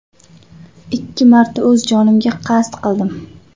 Ikki marta o‘z jonimga qasd qildim.